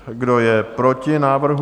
Kdo je proti návrhu?